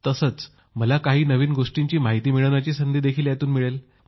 तसेच मला काही नव्या गोष्टींची माहिती मिळवण्याची संधी देखील यातून मिळेल